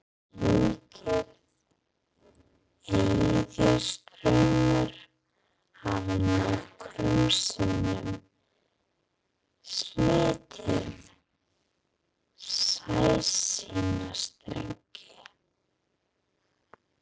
Slíkir eðjustraumar hafa nokkrum sinnum slitið sæsímastrengi.